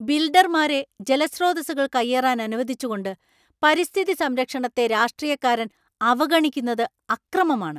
ബിൽഡർമാരെ ജലസ്രോതസ്സുകൾ കയ്യേറാൻ അനുവദിച്ചുകൊണ്ട് പരിസ്ഥിതി സംരക്ഷണത്തെ രാഷ്ട്രീയക്കാരൻ അവഗണിക്കുന്നത് അക്രമമാണ്.